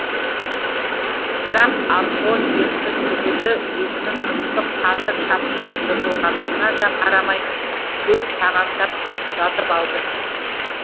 бірақ архо терісі түгілі етінің ыстық қаны шапшып жыртылғанына да қарамай төрт тағандап жатып алды